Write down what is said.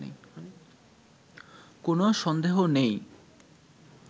কোনো সন্দেহ নেই